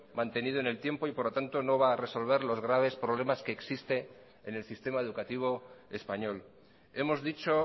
mantenido en el tiempo y por lo tanto no va a resolver los graves problemas que existen en el sistema educativo español hemos dicho